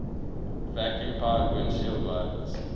vacuum powered windshield wipers